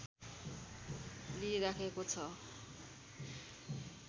लिइराखिएको छ